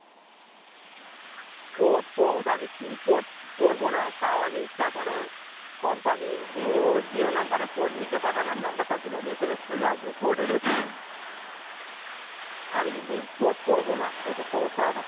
Port port আমি sim port করবোনা, তাও আমি ইচ্ছা করে company র উম জিও number এ port লিখে পাঠালাম number টা দিলাম SMS চলে আসলো port আমি কিন্তু port করবোনা, ওতে সমস্যা হবে কোনো?